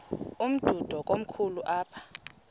umdudo komkhulu apha